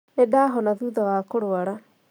Nĩ ndahona thutha wa kũrwara